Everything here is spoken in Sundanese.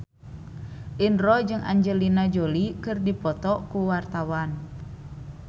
Indro jeung Angelina Jolie keur dipoto ku wartawan